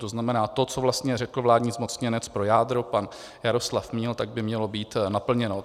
To znamená to, co vlastně řekl vládní zmocněnec pro jádro pan Jaroslav Míl, tak by mělo být naplněno.